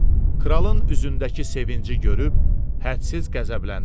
Kralın üzündəki sevinci görüb hədsiz qəzəbləndi.